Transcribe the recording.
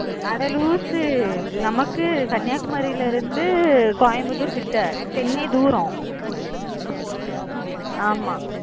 அட லூசு நமக்கு Kanyakumari ல இருந்து Coimbatore கிட்ட chennai தூரம் ஆமா